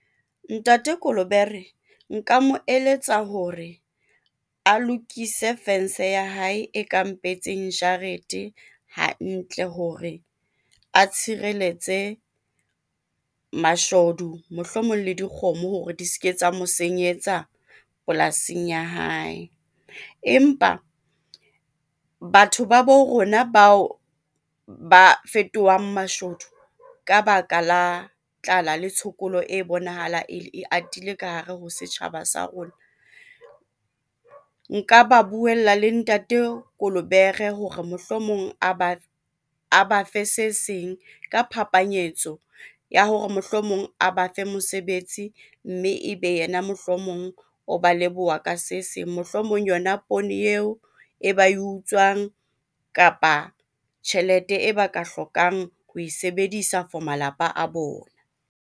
Ntate Kolobere nka mo eletsa hore a lokise fence ya hae e ka mpehetseng jarete hantle hore a tshireletse a mashodu mohlomong le dikgomo hore di seke tsa mo senyetsa polasing ya hae. Empa batho ba bo rona bao ba fetohang mashodu ka baka la tlala le tshokolo e bonahala ele e atile ka hare ho setjhaba sa rona. Nka ba buella le ntate Kolobere hore mohlomong a bafe se seng ka phapanyetso ya hore mohlomong a bafe mosebetsi, mme e be yena mohlomong o ba leboha ka se seng. Mohlomong yona poone eo e ba utswang kapa tjhelete e ba ka hlokang ho e sebedisa for malapa a bona.